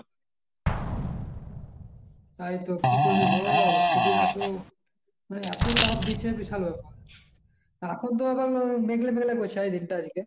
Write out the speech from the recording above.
তাই তো কি করবি বল খুবই এত মানে এত তাপ দিচ্ছে বিশাল ব্যাপার, এখন তো আবার মেঘলা মেঘলা করছে এই দিনটা আজকে।